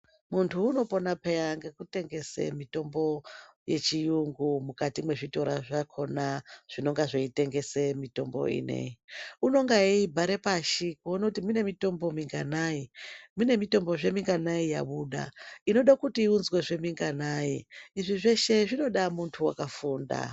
Munthu unopona peya ngekutengesa mitombo yechiyungu mukati mwezvitora zvakona zvinenga zveitengesa mitombo inei unonga eibhare pashi kuona kuti mune mitombo minganai mune mitombozve minganai yabuda inoda kuti iunzwezve minganai izvi zveshe zvinoda munthu wakafunda.